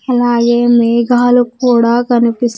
అలాగే మేఘాలు కూడా కనిపిస్--